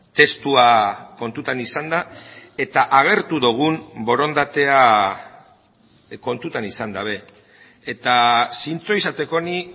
testua kontutan izanda eta agertu dugun borondatea kontutan izan gabe eta zintzo izateko ni